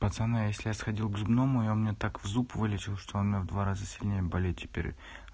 пацаны если я сходил к зубному и он мне так в зуб вылечил что он у меня в два раза сильнее болит теперь